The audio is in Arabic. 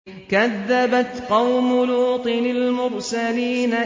كَذَّبَتْ قَوْمُ لُوطٍ الْمُرْسَلِينَ